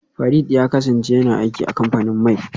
Farid ya kasance yana aiki a kamfanin mai